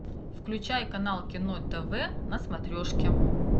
включай канал кино тв на смотрешке